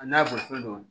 A n'a bolifɛn do